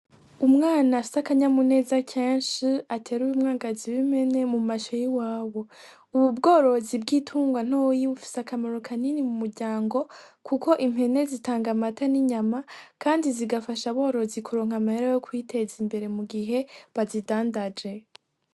Umwana afise akanyamuneza keshi ateruye umwagazi w'impene mu masho y' iwabo ubu bworozi bw'itungwa ntoyi bufise akamaro kanini mu muryango kuko impene zi tanga amata n'inyama kandi zigafasha aborozi ku ronka amahera yo kwiteza imbere mu gihe bazidandaje.